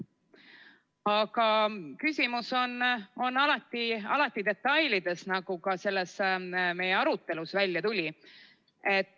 Aga küsimus on alati detailides, nagu ka meie arutelust välja tuli.